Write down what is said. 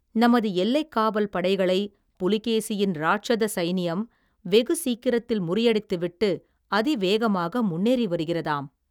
நமது எல்லைக் காவல் படைகளைப், புலிகேசியின் ராட்சத சைனியம், வெகு சீக்கிரத்தில் முறியடித்து விட்டு, அதிவேகமாக முன்னேறி வருகிறதாம்.